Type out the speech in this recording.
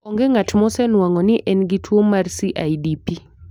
Onge ng'at mosenwang'o ni en gi tuwo mar CIDP.